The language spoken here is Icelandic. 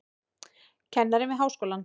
Kennir við háskólann.